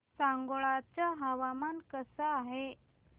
सांगोळा चं हवामान कसं आहे